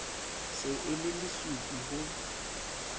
se e le lesupi ho